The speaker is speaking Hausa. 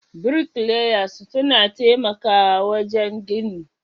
Bricklayers suna taimakawa wajen gini.